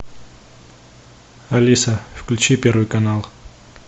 алиса включи первый канал